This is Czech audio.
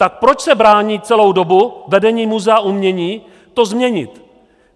Tak proč se brání celou dobu vedení Muzea umění to změnit?